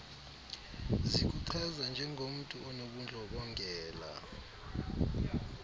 zikuchaza njengomntu onobundlobongela